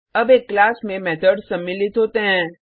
अब एक क्लास में मेथड्स सम्मिलित होते हैं